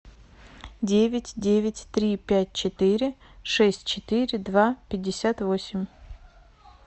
девять девять три пять четыре шесть четыре два пятьдесят восемь